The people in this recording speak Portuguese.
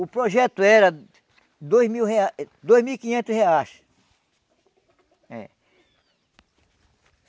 o projeto era dois mil reais, dois mil e quinhentos reais. É